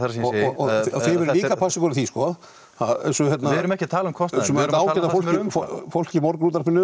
og þið verðið líka að passa ykkur á því sko að við erum ekki að tala um kostnaðinn sko fólk í morgunútvarpinu